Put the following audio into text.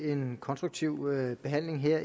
en konstruktiv behandling her